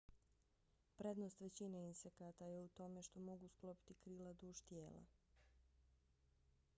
prednost većine insekata je u tome što mogu sklopiti krila duž tijela